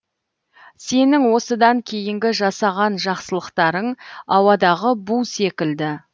сенің осыдан кейінгі жасаған жақсылықтарың ауадағы бу секілді